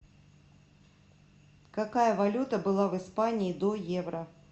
какая валюта была в испании до евро